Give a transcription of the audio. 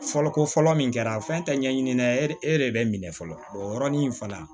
Fɔlɔ ko fɔlɔ min kɛra fɛn tɛ ɲɛɲini dɛ e de bɛ minɛ fɔlɔ o yɔrɔnin in fana